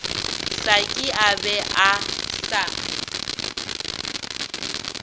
saki a be a sa